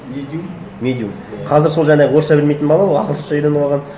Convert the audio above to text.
медиум медиум иә қазір сол жаңағы орысша білмейтін бала ол ағылшынша үйреніп алған